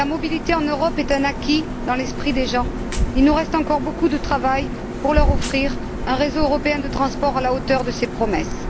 Si la mobilité en Europe est un acquis dans l'esprit des gens, il nous reste encore beaucoup de travail pour leur offrir un réseau européen de transport à la hauteur de ses promesses.